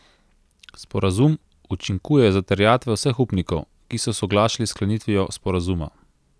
Sporazum učinkuje za terjatve vseh upnikov, ki so soglašali s sklenitvijo sporazuma.